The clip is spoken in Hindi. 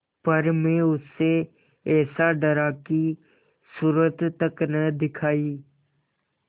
पर मैं उससे ऐसा डरा कि सूरत तक न दिखायी